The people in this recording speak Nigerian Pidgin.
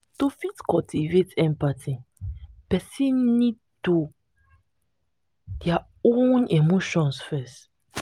to fit cultivate empathy person need to their own emotion first